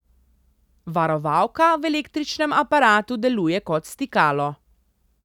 Varovalka v električnem aparatu deluje kot stikalo.